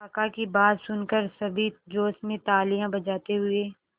काका की बात सुनकर सभी जोश में तालियां बजाते हुए